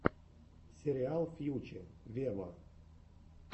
сериал фьюче вево